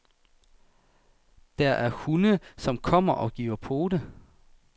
Der er hunde, som kommer og giver pote.